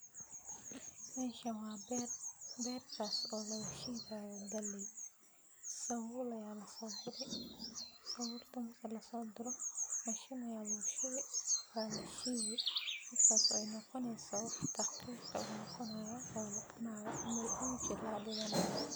Meshan wa ber , bertas oo lgashidayo galey. sabul ayaa lasogure, sabulka marka lasoguro , mashin ayaa lugushubi walashidi markas ay noqoneyso wax daqiq ah ay noqponeyso. uji aa lagadigani.